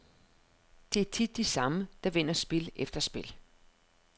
Det er tit de samme, der vinder spil efter spil.